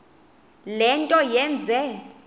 le nto yenze